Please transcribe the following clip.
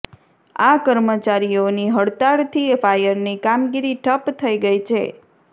આ કર્મચારીઓની હળતાલથી ફાયરની કામગીરી ઠપ્પ થઈ ગઈ છે